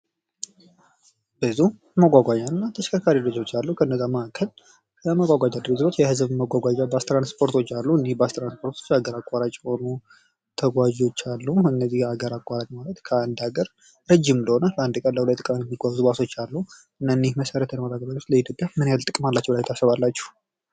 ብስክሌቶች ለአጭር ርቀት ጤናማና ለአካባቢ ተስማሚ መጓጓዣ ናቸው። ሞተር ሳይክሎች ደግሞ ፈጣንና ተንቀሳቃሽ ናቸው።